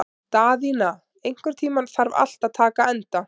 Daðína, einhvern tímann þarf allt að taka enda.